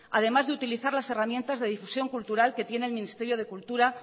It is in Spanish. además de utilizar las herramientas de difusión cultural que tiene el ministerio de cultura